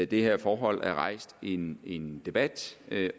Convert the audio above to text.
det her forhold er rejst en en debat